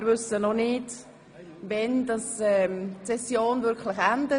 Wir wissen noch nicht, wann die Session wirklich endet.